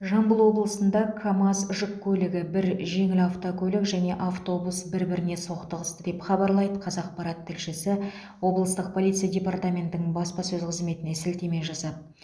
жамбыл облысында камаз жүк көлігі бір жеңіл автокөлік және екі автобус бір біріне соқтығысты деп хабарлайды қазақпарат тілшісі облыстық полиция департаментінің баспасөз қызметіне сілтеме жасап